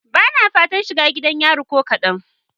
Bana fatan shiga gidan yari ko kadan.